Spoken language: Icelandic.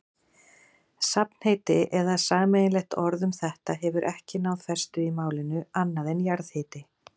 Safnheiti eða sameiginlegt orð um þetta hefur ekki náð festu í málinu, annað en jarðhiti.